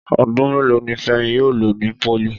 Ọdún mélòó ni Fẹ́mi yóò lò ní pólì